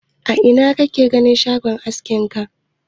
A ina kake gina shagon askin ka?